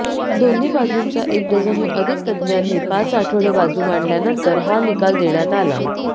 दोन्ही बाजूंच्या एक डझनहून अधिक तज्ज्ञांनी पाच आठवडे बाजू मांडल्यानंतर हा निकाल देण्यात आला